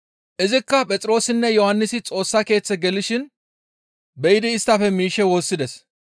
Izikka Phexroosinne Yohannisi Xoossa Keeththe gelishin be7idi isttafe miishshe woossides.